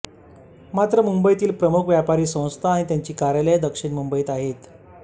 मात्र मुंबईतील प्रमुख व्यापारी संस्था आणि त्यांची कार्यालये दक्षिण मुंबईत आहेत